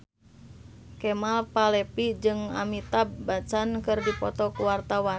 Kemal Palevi jeung Amitabh Bachchan keur dipoto ku wartawan